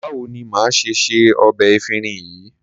Báwo ni màá ṣe se ọbẹ̀ efinrin yìí?